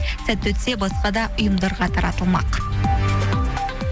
сәтті өтсе басқа да ұйымдарға таратылмақ